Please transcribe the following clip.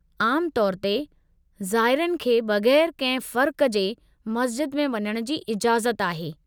आमु तौर ते ज़ाइरनि खे बग़ैरु कंहिं फ़र्क़ु जे मस्ज़िद में वञण जी इजाज़त आहे।